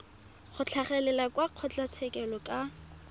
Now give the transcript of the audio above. go tlhagelela kwa kgotlatshekelo ka